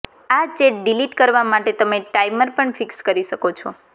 આ chat delete કરવા માટે તમે ટાઇમર પણ ફિક્સ કરી શકો છો